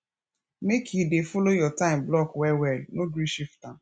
make you dey folo your time block wellwell no gree shift am